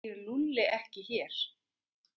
Býr Lúlli ekki hér?